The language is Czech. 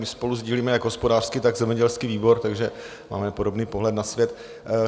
My spolu sdílíme jak hospodářský, tak zemědělský výbor, takže máme podobný pohled na svět.